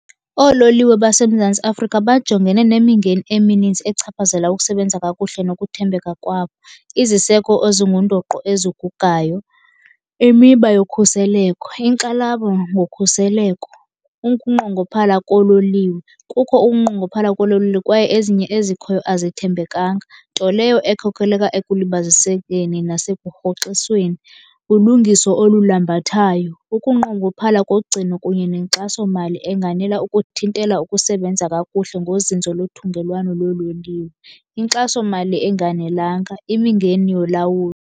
Oololiwe baseMzantsi Afrika bajongene nemingeni emininzi echaphazela ukusebenza kakuhle nokuthembeka kwabo. Iziseko ezingundoqo ezigugayo, imiba yokhuseleko, inkxalabo ngokhuseleko, ukunqongophala koololiwe. Kukho ukunqongophala koololiwe kwaye ezinye ezikhoyo azithembekanga, nto leyo ekhokheleka ekulibazisekeni nasekurhoxisweni. Ulungiso olulambathayo, ukunqongophala kogcino kunye nenkxasomali enganela ukuthintela ukusebenza kakuhle ngozinzo lothungelwano loololiwe, inkxasomali enganelanga, imingeni yolawulo.